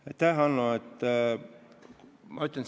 Aitäh, Hanno!